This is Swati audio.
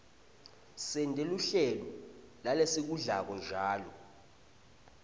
sente luhlelo lalesikudlako njalo